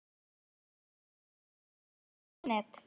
fínt Kíkir þú oft á Fótbolti.net?